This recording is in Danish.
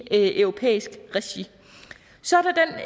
i europæisk regi så